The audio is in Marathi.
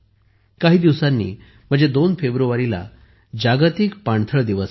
काही दिवसांनी म्हणजे 2 फेब्रुवारीला जागतिक पाणथळ दिवस आहे